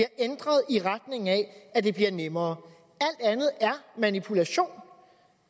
ændret i retning af at det bliver nemmere alt andet er manipulation